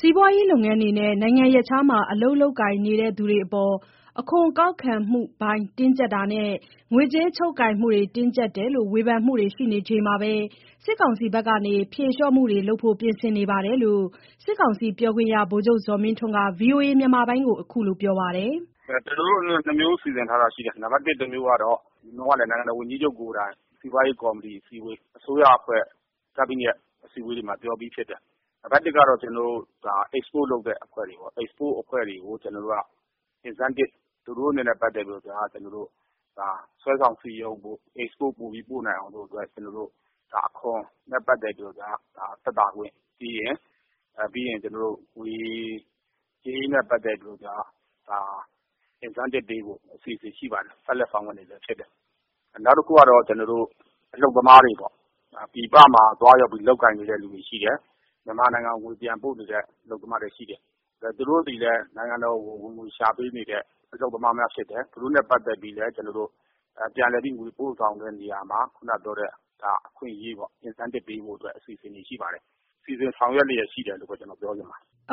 စီးပွားရေးလုပ်ငန်း တွေနဲ့ နိုင်ငံရပ်ခြားမှာ အလုပ်လုပ်ကိုင် နေသူတွေအပေါ် အခွန်ကောက်ခံမှု တွေ တင်းကျပ်တာနဲ့ ငွေကြေးချုပ်ကိုင်မှုတွေ တင်းကျပ်တယ်လို့ ဝေဖန်တွေမှုရှိနေချိန်မှာဘဲ စစ်ကောင်စီဘက်က ဖြေလျှော့မှုတွေလုပ်ဖို့ ပြင်ဆင်နေတယ်လို့ စစ်ကောင်စီပြောခွင့်ရ ဗိုလ်ချုပ်ဇော်မင်းထွန်းက ဗွီအိုအေကို ခုလိုပြောဆိုလိုက်တာ ဖြစ်ပါတယ်။ "ကျနော်တို့ ၂ မျိုးစီစဉ်ထားတာရှိတယ်။ နိုင်ငံတော်ဝန်ကြီးချုပ်ကိုယ်တိုင် စီးပွားရေးကော်မတီ အစည်းအဝေး အစိုးရအဖွဲ့ ကက်ဘိနက်မှာ ပြောပြီးဖြစ်တယ်။ နံပါတ် ၁ ကတော့ export အဖွဲ့တွေကို incentive သူတို့တွေကို စွဲဆောင်စည်းရုံးနိုင်ဖို့ export ပိုပြီးပို့နိုင်အောင်လို့ အခွန်နဲ့ ပတ်သတ်ပြီး သက်သာခွင့်၊ ပြီးရင်ငွေကြေးနဲ့ ပတ်သက်လို့က incentive ပေးဖို့ အစီအစဉ်ရှိပါတယ်။ ဆက်လက် ဆောင်ရွက်နေဆဲဖြစ်တယ်။ နောက်တခုကတော့ အလုပ်သမားတွေပေါ့။ ပြည်ပမှာ သွားရောက် လုပ်ကိုင် နေသူတွေ ရှိတယ်။ မြန်မာနိုင်ငံကို ငွေပြန်ပို့နေတဲ့ သူတွေရှိတယ်။ သူတို့သည်လည်း နိုင်ငံတော်ကို ငွေရှာပေးနေတဲ့သူတွေ ဖြစ်တယ်။ အလုပ်သမားများ ဖြစ်တယ်။ သူတို့နဲ့ပတ်သက်လို့ ပြန်လည်ငွေပို့ဆောင်တဲ့ နေရာမှာ အခွင့်အရေး incentive ပေးဖို့ အစီအစဉ်တွေ ရှိပါတယ်။ အသေးစိတ်ကတော့ စီစဉ်ဆောင်ရွက်နေဆဲရှိတယ်လို့ပဲ ပြောချင်ပါတယ်။"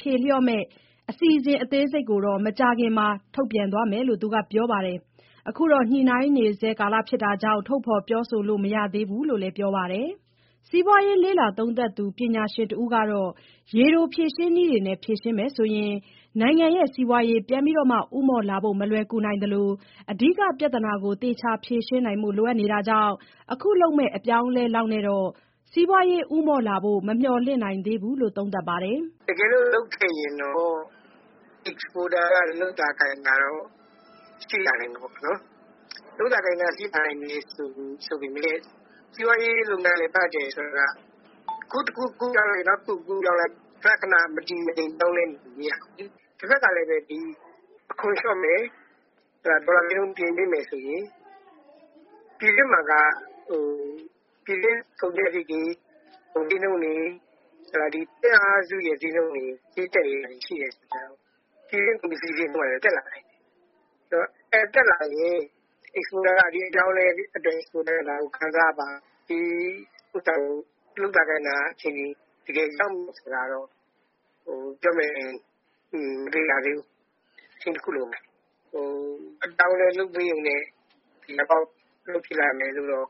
ဖြေလျော့မယ့် အစီအစဉ်အသေးစိတ်ကို မကြာခင်မှာ ထုတ်ပြန်သွားမယ်လို့ ပြောပါတယ်။ အခုတော့ ညှိုနှိုင်းနေဆဲဖြစ်နေတဲ့ အတွက် ထုတ်ဖော်ပြောဆိုလို့ မရသေးဘူးလို့လည်း ပြောပါတယ်။ စီးပွားရေး လေ့လာသုံးသပ်သူ ပညာရှင်တဦးကတော့ ရေတိုဖြေရှင်းနည်းတွေနဲ့ ဖြေရှင်းမယ်ဆိုရင် နိုင်ငံ့စီးပွားရေး ပြန်လည်ဦးမော့လာဖို့ မလွယ်နိုင်သလို အဓိကပြဿနာကို သေချာဖြေရှင်းနိုင်ဖို့ လိုနေတာကြောင့် အခုလုပ်မယ့် အပြောင်းအလဲလောက်နဲ့တော့ စီးပွားရေး ဦးမော့လာဖို့ မမျှော်လင့် နိုင်သေးဘူးလို့ သုံးသပ်ပါတယ်။ "တကယ်လို့လုပ်ခဲ့ရင်တော့ exporter တွေ လုပ်သာကိုင်သာရှိသွားမှာပေါ့။ လုပ်သာကိုင်သာ ရှိလာနိုင်တယ်ဆိုပေမယ့် အခု တခုကူးလိုက် နောက်တခု ကူးပြောင်းလိုက်။ ခဏခဏ မတည်မငြိမ် ပြောင်းလဲနေလို့ မရဘူးလေ။ တဖက်မှာ ကလည်း အခွန်လျော့မယ်၊ ဒေါ်လာဈေးနှုန်း ပြင်ပေးမယ်ဆိုရင် ပြည်တွင်းမှာ ပြည်တွင်းကုန်ကျစရိတ်တွေ ကုန်ဈေးနှုန်းတွေ သွင်းအားစု ဈေးနှုန်းတွေ တက်နေတာရှိတော့ ဒါတွေတက်လာနိုင်တယ်။ တက်လာရင် exporter က ဒီအပြောင်းအလဲကို ခံစားရပါ့မလား။ လုပ်သာကိုင်သာ ရှိပါ့မလား ပြောမယ်ဆိုရင်တော့ မသေချာ သေးဘူး။ အချိန်တခု လိုမယ်။ အပြောင်းအလဲဖြစ်လာရုံနဲ့ သေချာပေါက် အလုပ်ဖြစ်လာမယ်လို့ မျှော်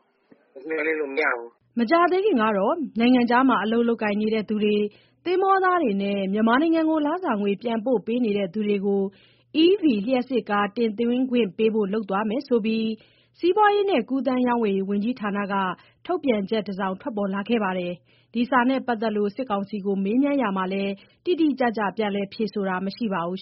လင့်လို့ မရဘူး" မကြာသေးခင်ကတော့ နိုင်ငံခြားမှာ အလုပ်လုပ်ကိုင်သူတွေ၊ သင်္ဘောသားတွေနဲ့ မြန်မာနိုင်ငံကို လစာငွေ ပြန်ပို့ပေး နေတဲ့သူတွေကို EV လျှပ်စစ်ကားတွေ တင်သွင်းခွင့်ပေးဖို့ လုပ်သွားမယ်ဆိုပြီး စီးပွားရေးနဲ့ကူးသန်းရောင်းဝယ်ရေး ဝန်ကြီးဌာန က ထုတ်ပြန်ချက် တစောင်ထွက်ပေါ်လာခဲ့ပါတယ်။ ဒီစာနဲ့ပတ်သက်လို့ စစ်ကောင်စီကို မေးမြန်းရာမှာတော့ တိတိကျကျ ပြန်လည် ဖြေဆိုတာ မရှိပါဘူး